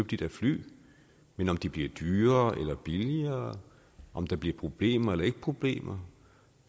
de der fly men om de bliver dyrere eller billigere om der bliver problemer eller ikke problemer